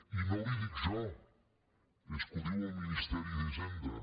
i no li ho dic jo és que ho diu el ministeri d’hisenda